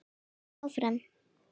hélt hann áfram.